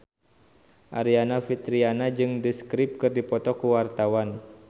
Aryani Fitriana jeung The Script keur dipoto ku wartawan